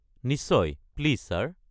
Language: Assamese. নিশ্চয়, প্লিজ ছাৰ।